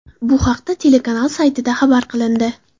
Bu haqda telekanal saytida xabar qilindi .